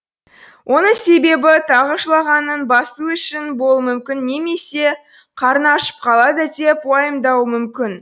оның себебі тағы жылағанын басу үшін болуы мүмкін немесе қарны ашып қалады деп уайымдауы мүмкін